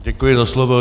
Děkuji za slovo.